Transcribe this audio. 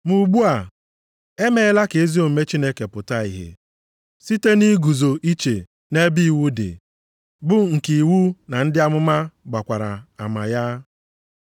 Ma ugbu a, emeela ka ezi omume Chineke pụta ìhè, site nʼiguzo iche nʼebe iwu dị, bụ nke iwu na ndị amụma gbakwara ama ya.